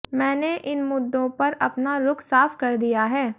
मैंने इन मुद्दों पर अपना रुख साफ कर दिया है